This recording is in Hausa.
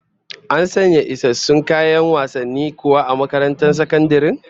An sanya isassun kayan wasanni kuwa a karamar sakandaren?